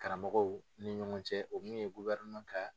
Karamɔgɔw ni ɲɔgɔn cɛ o min ye kan